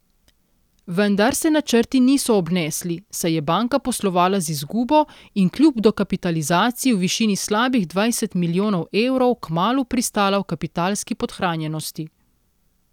Vendar se načrti niso obnesli, saj je banka poslovala z izgubo in kljub dokapitalizaciji v višini slabih dvajset milijonov evrov kmalu pristala v kapitalski podhranjenosti.